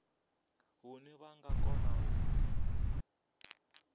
hune vha nga kona u